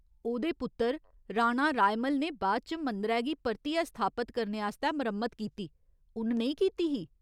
ओह्‌दे पुत्तर, राणा रायमल ने बाद च मंदरै गी परतियै स्थापत करने आस्तै मरम्मत कीती, उ'न नेईं कीती ही?